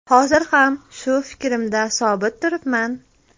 Hozir ham shu fikrimda sobit turibman.